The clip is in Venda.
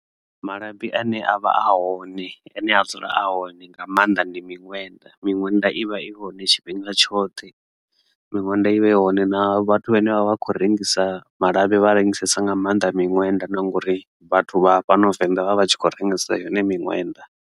Malabi ane a vha a hone ane a dzula a hone nga maanḓa ndi miṅwenda. Miṅwenda ivha i hone tshifhinga tshoṱhe, miṅwenda ivha i hone na vhathu vhane vha vha khou rengisesa malabi vha rengisa nga maanḓa miṅwenda na ngori vhathu vha fhano Venḓa vha vha tshi khou rengisa yone miṅwenda.